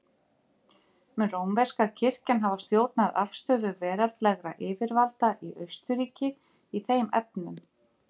Mun rómverska kirkjan hafa stjórnað afstöðu veraldlegra yfirvalda í Austurríki í þeim efnum.